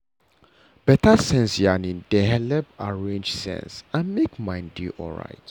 better sense yarning dey helep arrange sense and make mind dey alright.